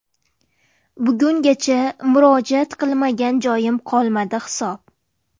Bugungacha murojaat qilmagan joyim qolmadi hisob.